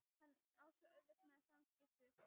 Hann á svo auðvelt með samskipti við fólk.